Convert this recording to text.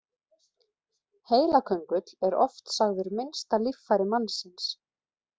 Heilaköngull er oft sagður minnsta líffæri mannsins.